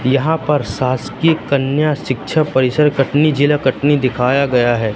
यहां पर शासकीय कन्या शिक्षा परिषद कटनी जिला कटनी दिखाया गया है।